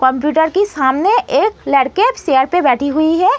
Computer के सामने एक लड़की चेयर पर बैठी हुई है।